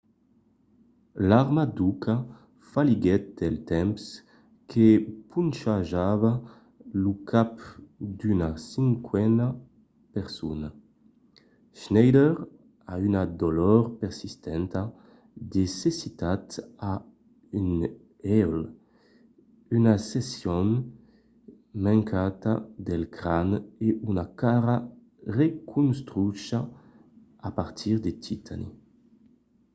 l’arma d’uka falhiguèt del temps que ponchejava lo cap d’una cinquena persona. schneider a una dolor persistenta de cecitat a un uèlh una seccion mancanta del cran e una cara reconstrucha a partir de titani